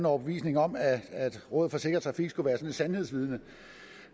overbevisning om at rådet for sikker trafik skulle være sådan et sandhedsvidne